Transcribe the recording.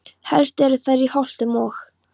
Helst eru þær í Holtum og